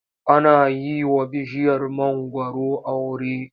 Ana yi wa bishiyar mangwaro aure.